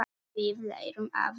Við lærum að lesa.